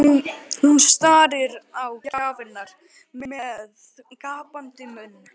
Hún starir á gjafirnar með gapandi munn.